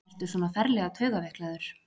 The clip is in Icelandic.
Ertu svona ferlega taugaveiklaður?